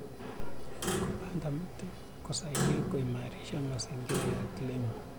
Kupanda miti kusaidia kuimarisha mazingira ya kilimo.